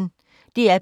DR P1